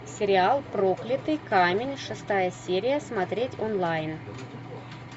сериал проклятый камень шестая серия смотреть онлайн